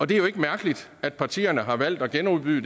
det er jo ikke mærkeligt at partierne har valgt at genudbyde